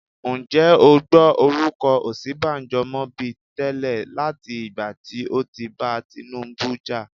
Ǹjẹ́ o gbọ́ orúkọ Osinbajo mọ bi tẹ́lẹ̀ láti ìgbà tí ó ti bá Tinubu jà?